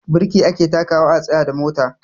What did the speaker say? Birki ake takawa a tsayar da mota.